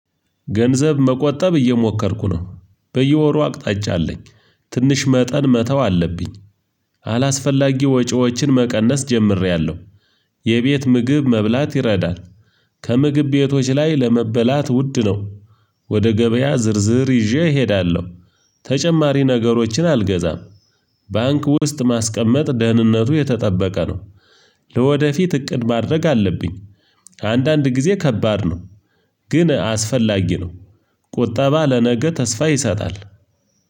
ገንዘብ መቆጠብ እየሞከርኩ ነው በየወሩ አቅጣጫ አለኝ ትንሽ መጠን መተው አለብኝ። አላስፈላጊ ወጪዎችን መቀነስ ጀምሬያለሁ። የቤት ምግብ መብላት ይረዳል። ከምግብ ቤቶች ላይ ለመበላት ውድ ነው። ወደ ገበያ ዝርዝር ይዤ እሄዳለሁ። ተጨማሪ ነገሮችን አልገዛም። ባንክ ውስጥ ማስቀመጥ ደህንነቱ የተጠበቀ ነው። ለወደፊት እቅድ ማድረግ አለብኝ። ከአንዳንድ ጊዜ ከባድ ነው። ግን አስፈላጊ ነው። ቁጠባ ለነገ ተስፋ ይሰጣል።